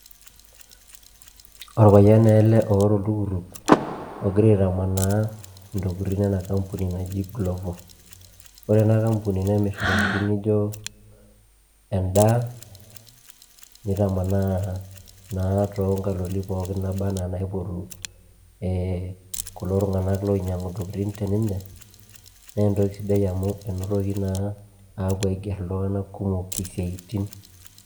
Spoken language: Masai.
orapayian naa ele oota oltukutuk,,ogira aitamanaa intokitin ena kampuni naji glovo ore ena kampuni nemir intokitin naijo edaa, nitamanaa naa too nkatitin ookin naba anaa inaipotu ee kulo tongana loinyiangu intokitin te ninche, naa entoki sidai amu enotoki naa aiger ltungana kumok isiatin.